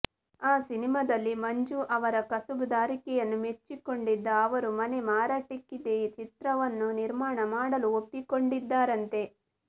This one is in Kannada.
ಆ ಸಿನಿಮಾದಲ್ಲಿ ಮಂಜು ಅವರ ಕಸುಬುದಾರಿಕೆಯನ್ನು ಮೆಚ್ಚಿಕೊಂಡಿದ್ದ ಅವರು ಮನೆ ಮಾರಾಟಕ್ಕಿದೆ ಚಿತ್ರವನ್ನು ನಿರ್ಮಾಣ ಮಾಡಲು ಒಪ್ಪಿಕೊಂಡಿದ್ದರಂತೆ